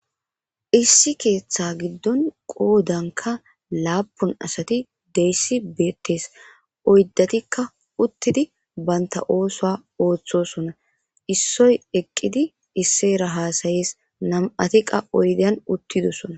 issi keeththa giddon qoodanka laapun asati deyssi beettees oyddetikka uttidi baynta oosoa ooththosonna issoy eqqidi isseera haasayees nam7ati qa oydyan uttidosona